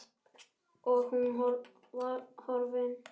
Og hún var horfin.